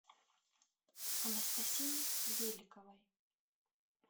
анастасии беликовой